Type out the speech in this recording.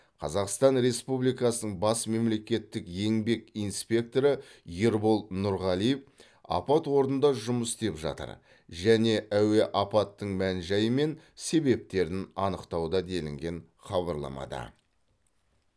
қазақстан республикасының бас мемлекеттік еңбек инспекторы ербол нұрғалиев апат орнында жұмыс істеп жатыр және әуе апаттың мән жайы мен себептерін анықтауда делінген хабарламада